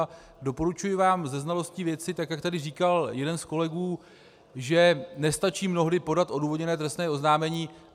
A doporučuji vám se znalostí věci, tak jak tady říkal jeden z kolegů, že nestačí mnohdy podat odůvodněné trestné oznámení.